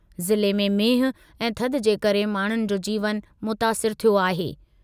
ज़िले में मींहुं ऐं थधि जे करे माण्हुनि जो जीवन मुतासिरु थियो आहे।